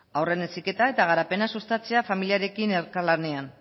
haurren heziketa eta garapena sustatzea familiarekin elkarlanean